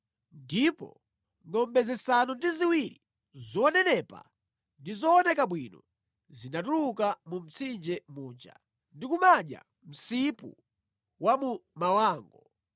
ndipo ngʼombe zisanu ndi ziwiri zonenepa ndi zooneka bwino zinatuluka mu mtsinje muja ndi kumadya msipu wa mu mawango.